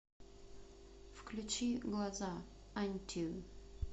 включи глаза антью